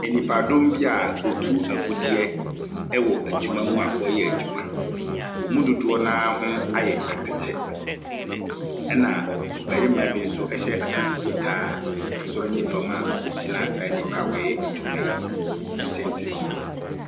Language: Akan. Nnipa ldɔm bi a wɔtu agudeɛ wɔ adwuma mu a wɔreyɛ a adwima. Wɔn mu dodoɔ no ara ho a ayɛ atɛkyɛ, na ɔbarima bi nso hyɛ ataade fitaa soro ne fam a ogyina saa nnipa wɔreyɛ adwuma yi tentensoɔ.